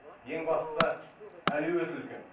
ең бастысы әлеует үлкен